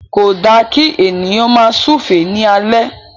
Ko da ki ènìyàn máa súúfe ni alẹ.